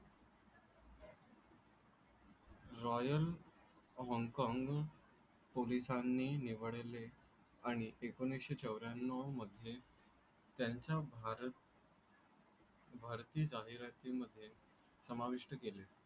Royal Hong Kong पोलिसांनी निवडले आणि एकोणीसशे चौर्याण्णव मध्ये त्यांच्या भारतीय जाहिरातींमध्ये समाविष्ट केले.